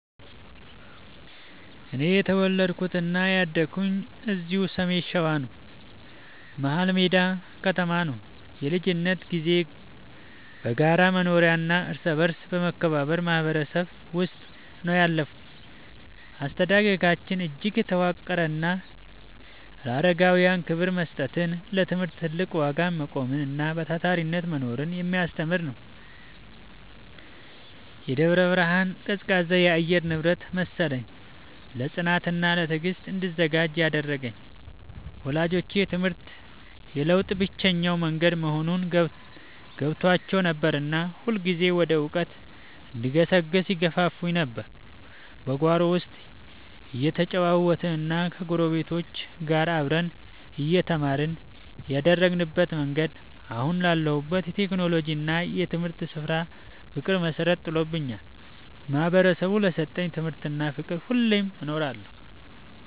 እኔ የተወለድኩትና ያደግኩት እዚሁ በሰሜን ሸዋ፣ መሀልሜዳ ከተማ ነው። የልጅነት ጊዜዬ በጋራ መኖሪያና እርስ በርስ በመከባበር ማህበረሰብ ውስጥ ነው ያለፈው። አስተዳደጋችን እጅግ የተዋቀረና ለአረጋውያን ክብር መስጠትን፣ ለትምህርት ትልቅ ዋጋ መቆምንና በታታሪነት መኖርን የሚያስተምር ነበር። የደብረ ብርሃን ቀዝቃዛ የአየር ንብረት መሰለኝ፣ ለጽናትና ለትዕግስት እንድዘጋጅ ያደረገኝ። ወላጆቼ ትምህርት የለውጥ ብቸኛው መንገድ መሆኑን ገብቷቸው ነበርና ሁልጊዜም ወደ እውቀት እንድገሰግስ ይገፋፉኝ ነበር። በጓሮ ውስጥ እየተጫወትንና ከጎረቤቶች ጋር አብረን እየተማርን ያደግንበት መንገድ፣ አሁን ላለሁበት የቴክኖሎጂና የትምህርት ስራ ፍቅር መሰረት ጥሎልኛል። ማህበረሰቡ ለሰጠኝ ትምህርትና ፍቅር ሁሌም እኖራለሁ።